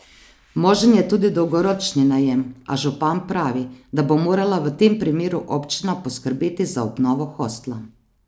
Možen je tudi dolgoročni najem, a župan pravi, da bo morala v tem primeru občina poskrbeti za obnovo hostla.